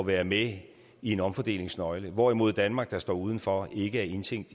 være med i en omfordelingsnøgle hvorimod danmark der står uden for ikke er indtænkt